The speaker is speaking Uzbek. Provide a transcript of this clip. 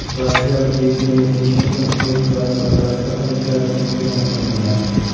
Rossiyalik Yevgeniy Tishenko o‘z vazn toifasida Olimpiada chempioni hisoblanadi.